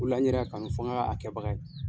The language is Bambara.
O de la n yɛrɛ y'a kanu fo n ka a kɛbaga ye.